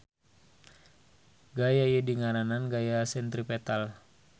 Gaya ieu dingaranan gaya sentripetal.